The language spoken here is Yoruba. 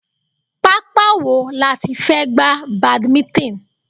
Pápá wo láti fẹ́ gba badminton?